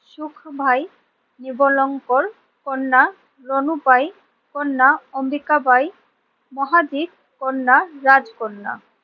সুখ ভাই, নিবলঙ্কর কন্যা রনু পাই, কন্যা অম্বিকা বাই, মহাজিৎ, কন্যা রাজকন্যা,